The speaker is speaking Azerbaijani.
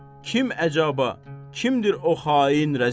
Kim əcəba, kimdir o xain rəzil?